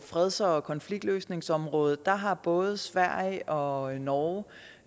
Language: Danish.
freds og konfliktløsningsområdet der har både sverige og norge